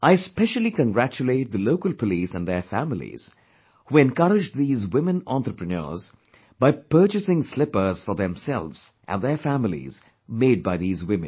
I especially congratulate the local police and their families, who encouraged these women entrepreneurs by purchasing slippers for themselves and their families made by these women